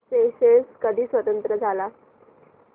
Seychelles कधी स्वतंत्र झाला